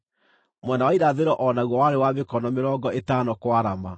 Mwena wa irathĩro o naguo warĩ wa mĩkono mĩrongo ĩtano kwarama.